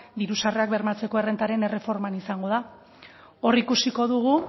diru sarrerak bermatzeko errentaren erreforman izango da hor ikusiko dugu